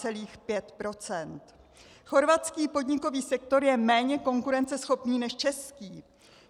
Chorvatský podnikový sektor je méně konkurenceschopný než český.